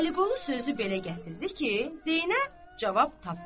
Vəliqulu sözü belə gətirdi ki, Zeynəb cavab tapmadı.